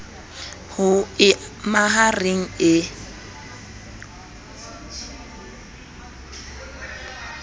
ho e maha reng e